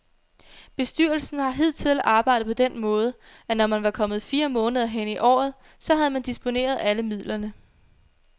Bestyrelsen har hidtil arbejdet på den måde, at når man var kommet fire måneder hen i året, så havde man disponeret alle midlerne.